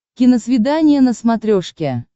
киносвидание на смотрешке